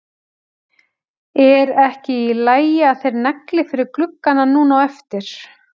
Er ekki í lagi að þeir negli fyrir gluggana núna á eftir?